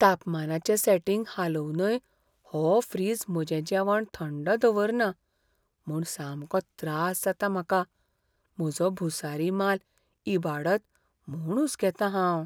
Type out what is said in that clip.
तापमानाचें setting हालोवनय हो fridge म्हजें जेवण थंड दवरना म्हूण सामको त्रास जाता म्हाका म्हजो भुसारी माल इबाडत म्हूण हुसकेतां हांव.